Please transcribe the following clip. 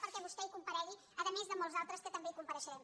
perquè vostè hi comparegui a més de molts altres que també hi compareixerem